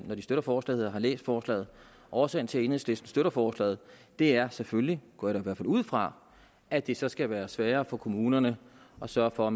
når de støtter forslaget har læst forslaget årsagen til at enhedslisten støtter forslaget er selvfølgelig går jeg i hvert fald ud fra at det så skal være sværere for kommunerne at sørge for at